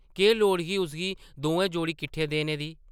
केह् लोड़ ही उसगी दोऐ जोड़े किट्ठे देने दी ?